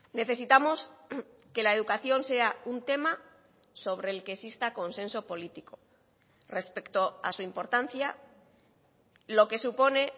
necesitamos que la educación sea un tema sobre el que exista consenso político respecto a su importancia lo que supone